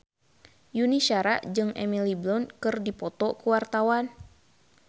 Yuni Shara jeung Emily Blunt keur dipoto ku wartawan